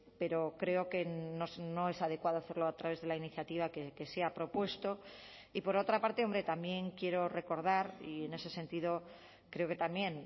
pero creo que no es adecuado hacerlo a través de la iniciativa que se ha propuesto y por otra parte hombre también quiero recordar y en ese sentido creo que también